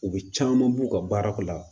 U bɛ caman b'u ka baarako la